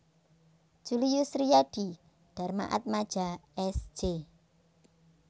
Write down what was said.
Julius Riyadi Darmaatmadja S J